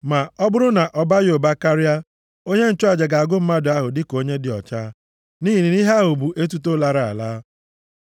Ma ọ bụrụ na ọ baghị ụba karịa, onye nchụaja ga-agụ mmadụ ahụ dịka onye dị ọcha, nʼihi na ihe a bụ etuto lara ala.